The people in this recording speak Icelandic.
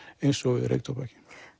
eins og við reyktóbaki